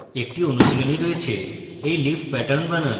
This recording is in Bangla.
আপনার জন্য একটি অনুশীলনী রয়েছে একটি leaf pattern বানান